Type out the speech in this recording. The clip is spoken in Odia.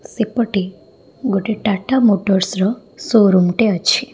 ସେପଟେ ଗୋଟେ ଟାଟା ମୋଟର୍ସ ର ସୋ ରୁମ ଟେ ଅଛି।